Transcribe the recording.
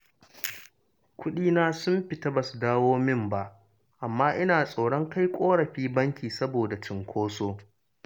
Kuɗina sun fita ba su dawo min ba, amma ina tsoron kai ƙorafi banki, saboda cinkoso